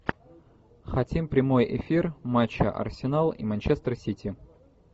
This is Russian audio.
хотим прямой эфир матча арсенал и манчестер сити